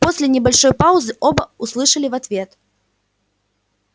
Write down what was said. после небольшой паузы оба услышали в ответ